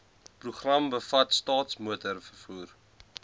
program bevat staatsmotorvervoer